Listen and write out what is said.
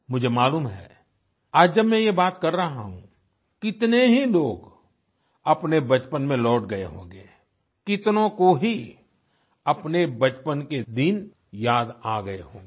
मुझे मालूम है आज जब मैं ये बात कर रहा हूँ तो कितने ही लोग अपने बचपन में लौट गए होंगे कितनों को ही अपने बचपन के दिन याद आ गए होंगे